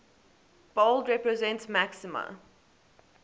bold represents maxima